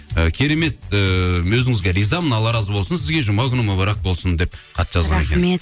ы керемет ыыы өзіңізге ризамын алла разы болсын сізге жұма күні мүбәрәк болсын деп хат жазған екен рахмет